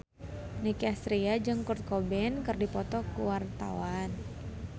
Nicky Astria jeung Kurt Cobain keur dipoto ku wartawan